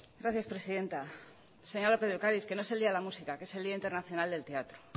gracias presidenta señora lópez de ocáriz que no es el día de la música que es el día internacional del teatro